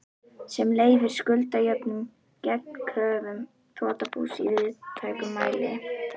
sem leyfir skuldajöfnuð gegn kröfum þrotabús í víðtækum mæli.